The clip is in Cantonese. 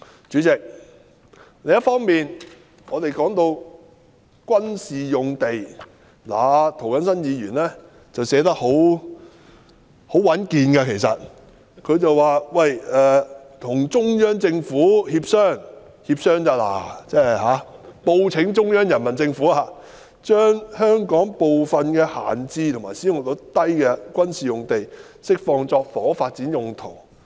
主席，另一方面，我們說到軍事用地，其實涂謹申議員寫得很穩健，提出與中央政府協商，只是協商而已，報請中央人民政府，"將香港部分閒置或使用率偏低的軍事用地釋放作房屋發展用途"。